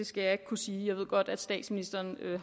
skal jeg ikke kunne sige jeg ved godt at statsministeren